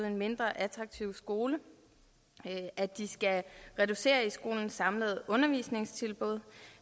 en mindre attraktiv skole at de skal reducere i skolens samlede undervisningstilbud og